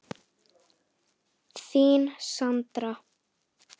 Þín, Sandra.